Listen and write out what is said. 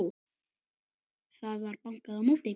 Það var bankað á móti.